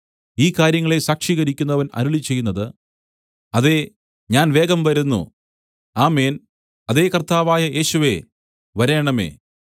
ഈ കാര്യങ്ങളെ സാക്ഷീകരിക്കുന്നവൻ അരുളിച്ചെയ്യുന്നത് അതേ ഞാൻ വേഗം വരുന്നു ആമേൻ അതെ കർത്താവായ യേശുവേ വരേണമേ